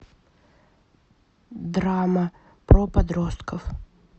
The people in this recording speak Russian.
драма про подростков